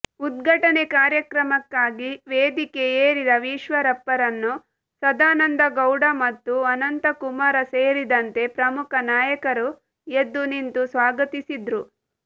ಉದ್ಘಾಟನೆ ಕಾರ್ಯಕ್ರಮಕ್ಕಾಗಿ ವೇದಿಕೆ ಏರಿದ ಈಶ್ವರಪ್ಪರನ್ನು ಸದಾನಂದಗೌಡ ಮತ್ತು ಅನಂತಕುಮಾರ ಸೇರಿದಂತೆ ಪ್ರಮುಖ ನಾಯಕರು ಎದ್ದು ನಿಂತು ಸ್ವಾಗತಿಸಿದ್ರು